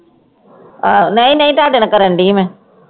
ਆਹ ਨਹੀਂ ਨਹੀਂ ਤੁਹਾਡੇ ਨਾਲ ਕਰਨ ਦੀ ਮੈਂ